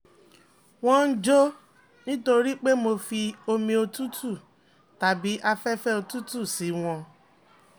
wọ́n ń jó nítorí pé mo fi omi òtútù tàbí afẹ́fẹ́ òtútù sí wọn